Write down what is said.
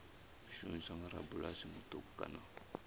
shumiswa nga rabulasi muṱuku kana